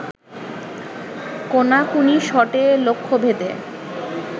কোনাকুনি শটে লক্ষ্যভেদে